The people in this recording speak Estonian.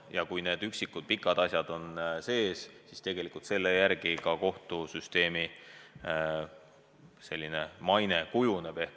Ja kui need üksikud pikad asjad on olemas, siis selle järgi kohtusüsteemi maine ka kujuneb.